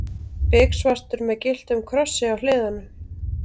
Biksvartur með gylltum krossi á hliðunum.